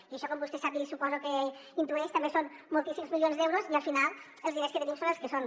i això com vostè sap i suposo que intueix també són moltíssims milions d’euros i al final els diners que tenim són els que són